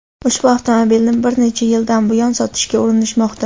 Ushbu avtomobilni bir necha yildan buyon sotishga urinishmoqda.